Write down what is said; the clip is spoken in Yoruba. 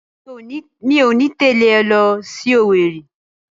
Rárá, mi ò ní tẹ̀lé ọ lọ sí Owerri